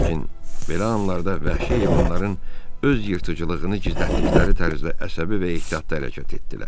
Lakin belə anlarda vəhşi heyvanların öz yırtıcılığını gizlətdikləri tərzdə əsəbi və ehtiyatla hərəkət etdilər.